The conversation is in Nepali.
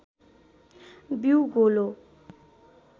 बीउ गोलो